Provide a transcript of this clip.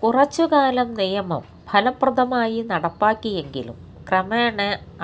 കുറച്ചുകാലം നിയമം ഫലപ്രദമായി നടപ്പാക്കിയെങ്കിലും ക്രമേണ